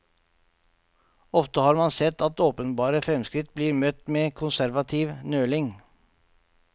Ofte har man sett at åpenbare fremskritt blir møtt med konservativ nøling.